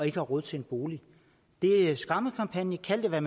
ikke har råd til en bolig det er en skræmmekampagne kald det hvad